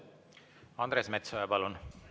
Andres Metsoja, palun!